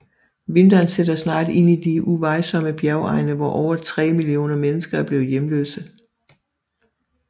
Vinteren sætter snart ind i de uvejsomme bjergegne hvor over 3 millioner mennesker er blevet hjemløse